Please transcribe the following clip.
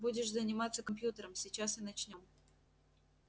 будешь заниматься компьютером сейчас и начнём